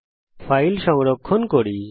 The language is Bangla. এখন এই ফাইল সংরক্ষণ করি